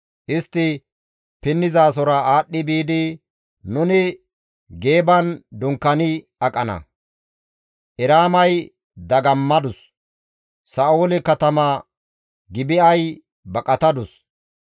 Istti pinnizasora aadhdhi biidi, nuni Geeban dunkaani aqana; Eraamay dagammadus; Sa7oole katama Gibi7ay baqatadus.